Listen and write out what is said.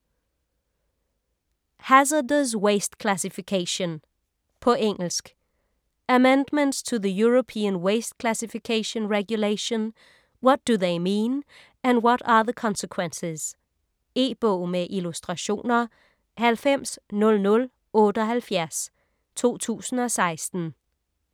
Hazardous waste classification På engelsk. Amendments to the European Waste Classification regulation - what do they mean and what are the consequences? E-bog med illustrationer 900078 2016.